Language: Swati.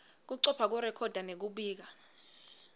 kucopha kurekhoda nekubika